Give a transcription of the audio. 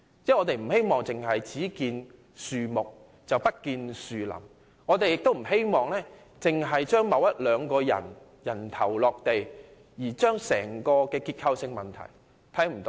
我們不希望見樹不見林，亦不希望着眼於令一兩個人"人頭落地"，而忽視整體的結構性問題。